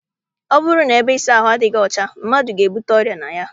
Ọ bụrụ na ebe ịsa ahụ adịghị ọcha, mmadụ ga- ebute ọrịa na ya.